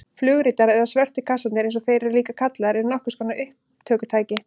Flugritar eða svörtu kassarnir eins og þeir eru líka kallaðir eru nokkurs konar upptökutæki.